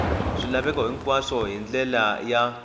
swilaveko hinkwaswo hi ndlela ya